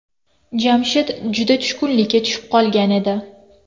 Jamshid juda tushkunlikka tushib qolgan edi.